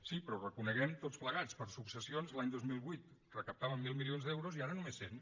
sí però reconeguem ho tots plegats per successions l’any dos mil vuit recaptàvem mil milions d’euros i ara només cent